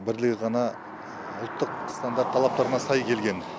бірлігі ғана ұлттық стандарт талаптарына сай келген